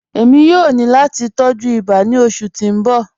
Ẹ̀mi yòó ní láti tọ̀jú ìbà ní ọṣù tí n bọ̀.